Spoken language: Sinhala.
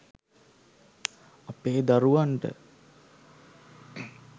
අපේ දරුවන්ට